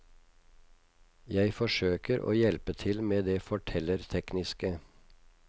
Jeg forsøker å hjelpe til med det fortellertekniske.